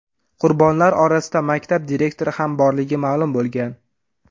Qurbonlar orasida maktab direktori ham borligi ma’lum bo‘lgan.